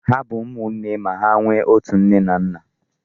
Ha bụ ụmụnne ma hà nwe ọtu nne na nna.